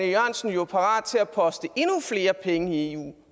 jørgensen jo parat til at poste endnu flere penge i eu